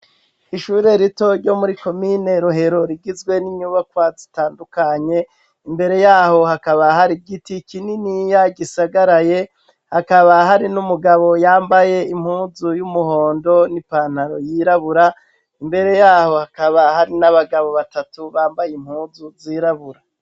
Ishure rito ryo muri komine Rohero rigizwe n'inyubakwa zitandukanye. Imbere y'aho hakaba har'igiti kininiya gisagaraye. Hakaba hari n'umugabo yambaye impuzu y'umuhondo n'ipataro yirabura. Imbere y'aho , hakaba hari n'abagabo batatu bambaye impuzu zirabura.